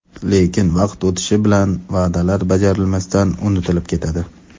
Lekin, vaqt o‘tishi bilan va’dalar bajarilmasdan unutilib ketadi.